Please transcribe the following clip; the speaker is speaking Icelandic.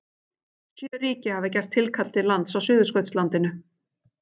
Sjö ríki hafa gert tilkall til lands á Suðurskautslandinu.